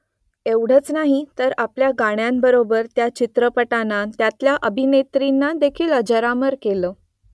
एवढंच नाही तर आपल्या गाण्यांबरोबर त्या चित्रपटांना त्यांतल्या अभिनेत्रींनादेखील अजरामर केलं